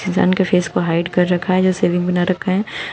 इंसान के फेस को हाइड कर रखा है जैसे बिग बना रखा है।